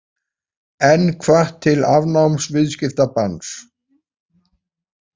Enn hvatt til afnáms viðskiptabanns